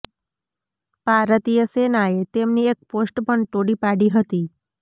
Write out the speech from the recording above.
ભારતીય સેનાએ તેમની એક પોસ્ટ પણ તોડી પાડી હતી